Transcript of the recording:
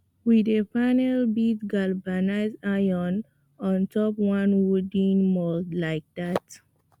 we dey panel beat galvanized iron on top one wooden mould like dat